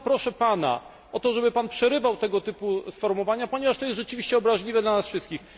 Bardzo proszę Pana o to, żeby Pan przerywał tego typu sformułowania, ponieważ to jest rzeczywiście obraźliwe dla nas wszystkich.